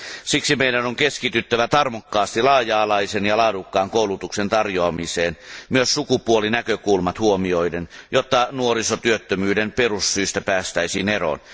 Siksi meidän on keskityttävä tarmokkaasti laaja alaisen ja laadukkaan koulutuksen tarjoamiseen myös sukupuolinäkökulmat huomioiden, jotta nuorisotyöttömyyden perussyistä päästäisiin eroon.